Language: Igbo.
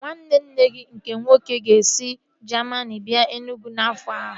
Nwanne nne gị nke nwoke ọ ga-esi Jamini bịa Enugwu n'afọ a?